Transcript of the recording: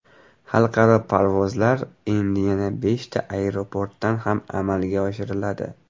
Xalqaro parvozlar endi yana beshta aeroportdan ham amalga oshiriladi.